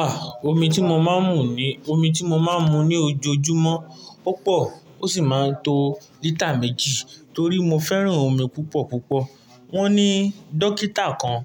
Ah! Omi tí mo máa ń mu ní, omi tí mo máa ń mu ní ojoojúmọ́, ó pọ̀ ó sì máa ń to lítà méjì torí mo fẹ́ràn omi púpọ̀ púpọ̀. Wọ́n ní dókítà kan,